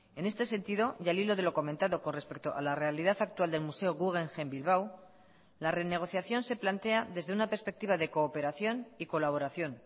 en este sentido y al hilo de lo comentado con respecto a la realidad actual del museo guggenheim bilbao la renegociación se plantea desde una perspectiva de cooperación y colaboración